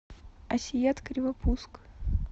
асият кривопуск